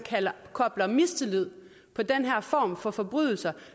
kobler mistillid på den her form for forbrydelse